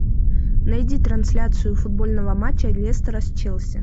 найди трансляцию футбольного матча лестера с челси